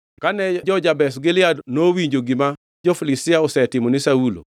Kane jo-Jabesh Gilead nowinjo gima jo-Filistia osetimo ni Saulo,